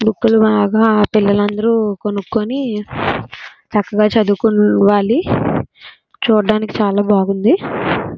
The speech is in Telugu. బుక్ లు బాగా ఆ పిల్లలందరూ కొనుక్కొని చక్కగా చదువుకొవాలి. చూడ్డానికి చాలా బాగుంది.